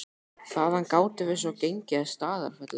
Þaðan gátum við svo gengið að Staðarfelli.